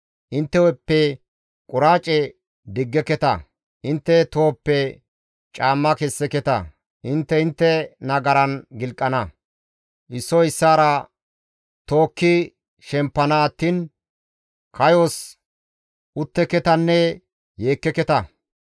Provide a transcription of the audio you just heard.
Intte hu7eppe quraace diggeketa; intte tohoppe caamma kesseketa; intte intte nagaran gilqana; issoy issaara tookki shempana attiin kayos utteketanne yeekkeketa.